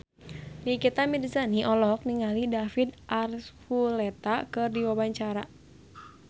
Nikita Mirzani olohok ningali David Archuletta keur diwawancara